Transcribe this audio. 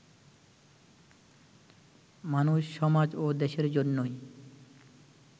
মানুষ, সমাজ ও দেশের জন্যই